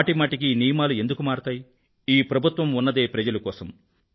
మాటిమాటికీ నియమాలు ఎందుకు మారతాయి ఈ ప్రభుత్వం ఉన్నదే ప్రజల కోసం